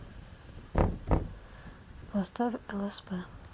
поставь лсп